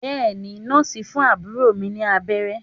Bẹ́èni Nọ́ọ̀sì ń fún àbúrò mi ní abẹ́rẹ́